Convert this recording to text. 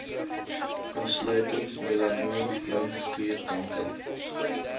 insluitend melanoom limfklierkanker